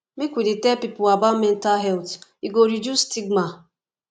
make we dey tell pipo about mental health e go reduce stigma